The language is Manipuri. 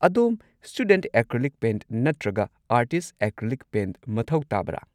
ꯑꯗꯣꯝ ꯁ꯭ꯇꯨꯗꯦꯟꯠ ꯑꯦꯀ꯭ꯔꯤꯂꯤꯛ ꯄꯦꯟꯠ ꯅꯠꯇ꯭ꯔꯒ ꯑꯥꯔꯇꯤꯁꯠ ꯑꯦꯀ꯭ꯔꯤꯂꯤꯛ ꯄꯦꯟꯠ ꯃꯊꯧ ꯇꯥꯕ꯭ꯔꯥ?